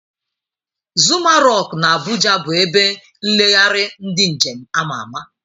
Zuma rock na abuja bu ebe nlegharị ndi njem ama ama.